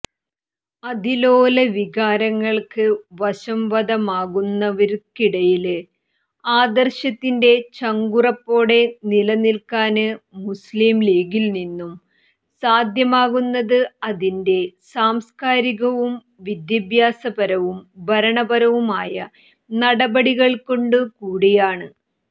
അതിലോല വികാരങ്ങള്ക്ക് വശംവദമാകുന്നവര്ക്കിടയില് ആദര്ശത്തിന്റെ ചങ്കുറപ്പോടെ നിലനില്ക്കാന് മുസ്ലിംലീഗിനിന്നും സാധ്യമാകുന്നത് അതിന്റെ സാംസ്കാരികവും വിദ്യാഭ്യാസപരവും ഭരണപരവുമായ നടപടികള്കൊണ്ടുകൂടിയാണ്